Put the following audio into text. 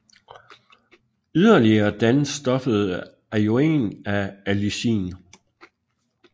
Yderligere dannes stoffet ajoen af allicin